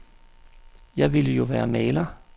Jeg ville jo være maler.